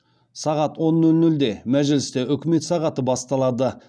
сағат он нөл нөлде мәжілісте үкімет сағаты басталады